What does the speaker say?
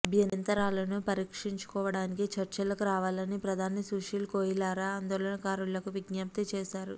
అభ్యంతరాలను పరిష్కరించుకోవడానికి చర్చలకు రావాలని ప్రధాని సుశీల్ కోయిరాలా ఆందోళనకారులకు విజ్ఞప్తి చేశారు